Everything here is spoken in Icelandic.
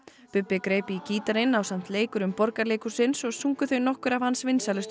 Bubbi greip í gítarinn ásamt leikurum Borgarleikhússins og sungu þau nokkur af hans vinsælustu